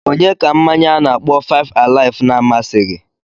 Onye ka mmanya a na-akpọ 5-alive na-amasịghi?